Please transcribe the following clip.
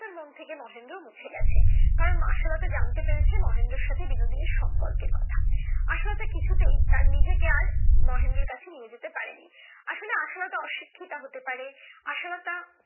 মন থেকে মহেন্দ্র মুছে গেছে কারণ আশালতা জানতে পেরেছে মহেন্দ্রের সাথে বিনোদিনীর সম্পর্কের কথা আশালতা কিছুতেই তার নিজে কে আর তার মহেন্দ্রর কাছে নিয়ে যেতে পারেনি আসলে আশালতা অশিক্ষিত হতে পারে আশালতা